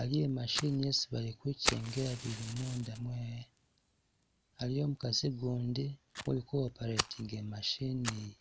aliwo machine isi bali kwikengela bili munda mwe'aa, aliwo mukaasi gundi uli Ku operating machine yi